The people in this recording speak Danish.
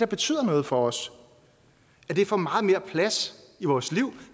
betyder noget for os får meget mere plads i vores liv